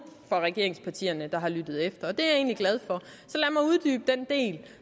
fra regeringspartierne der har lyttet efter og det er jeg egentlig glad for